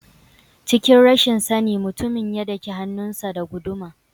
Cikin rashin sani mutumin ya daki hannun sa da guduma.